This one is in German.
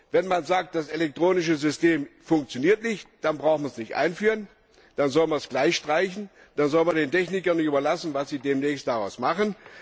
Wenn man sagt, das elektronische System funktioniert nicht, dann braucht man es nicht einführen, dann soll man es gleich streichen, dann soll man den Technikern überlassen, was sie demnächst daraus machen.